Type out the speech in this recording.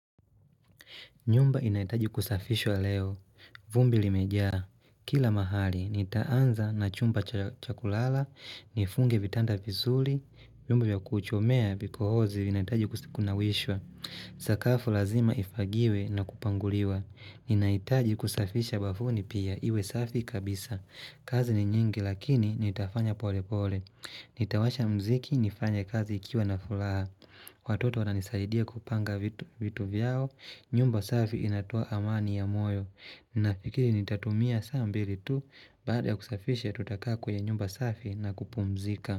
Nyumba inahitaji kusafishwa leo. Vumbi limejaa. Kila mahali, nitaanza na chumba cha kulala, nifunge vitanda vizuri, vyombo vya kuchomea vikohozi vinahitaji kusi kunawishwa. Sakafu lazima ifagiwe na kupanguliwa. Nahitaji kusafisha bafuni pia, iwe safi kabisa. Kazi ni nyingi lakini nitafanya pole pole. Nitawasha mziki nifanye kazi ikiwa na furaha Watoto wananisaidia kupanga vitu vyao. Nyumba safi inatoa amani ya moyo Ninafikiri nitatumia saa mbili tu Baada ya kusafishe tutakaa kwenye nyumba safi na kupumzika.